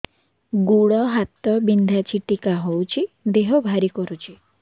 ଗୁଡ଼ ହାତ ବିନ୍ଧା ଛିଟିକା ହଉଚି ଦେହ ଭାରି କରୁଚି